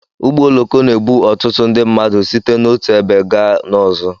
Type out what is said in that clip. Ụgbọ oloko na-ebu ọtụtụ mmadụ site n'otu ebe gaa n'ọzọ.